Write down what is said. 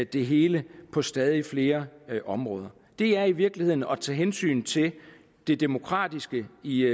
det hele på stadig flere områder det er i virkeligheden at tage hensyn til det demokratiske i